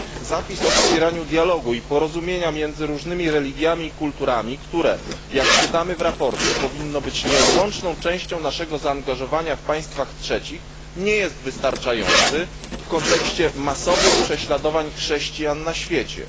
Zapis o wspieraniu dialogu i porozumienia między różnymi religiami i kulturami, które, jak czytamy w sprawozdaniu, powinno być nieodłączną częścią naszego zaangażowania zewnętrznego w państwach trzecich, nie jest wystarczający w kontekście masowych prześladowań chrześcijan na świecie.